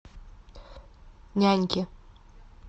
няньки